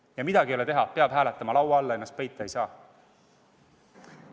Ja midagi pole teha, peab hääletama, laua alla ennast peita ei saa.